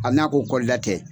Hali n'a ko kɔlida tɛ